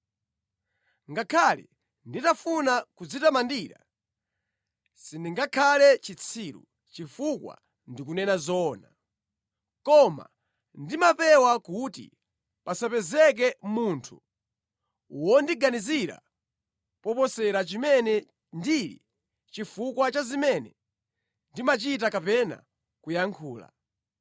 Ngakhale nditafuna kudzitamandira, sindingakhale chitsiru, chifukwa ndikunena zoona. Koma ndimapewa kuti pasapezeke munthu wondiganizira moposera chimene ndili chifukwa cha zimene ndimachita kapena kuyankhula,